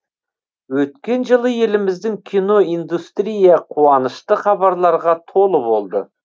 өткен жылы еліміздің кино индустрия қуанышты хабарларға толы болды